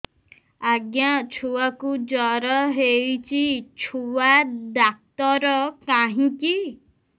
ଆଜ୍ଞା ଛୁଆକୁ ଜର ହେଇଚି ଛୁଆ ଡାକ୍ତର କାହିଁ କି